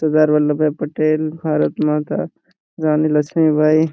Sardar Vallabhbhai Patel Bharat Mata Rani Lakshmi by.